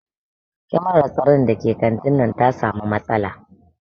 Kyamarar tsaron da ke kantin nan ta samu matsala